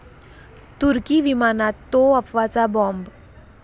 तुर्की विमानात 'तो' अफवाचा बॉम्ब